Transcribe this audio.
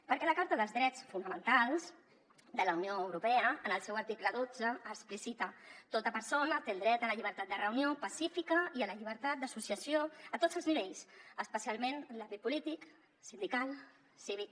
perquè la carta dels drets fonamentals de la unió europea en el seu article dotze explicita tota persona té dret a la llibertat de reunió pacífica i a la llibertat d’associació a tots els nivells especialment en l’àmbit polític sindical cívic